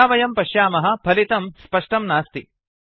यथा वयं पश्यामः फलितं स्पष्टं नास्ति